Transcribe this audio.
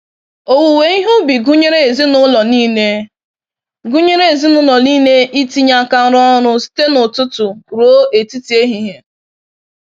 Owuwe ihe ubi gụnyere ezinụlọ nile gụnyere ezinụlọ nile itinye aka rụọ ọrụ site n'ụtụtụ ruo etiti ehihie.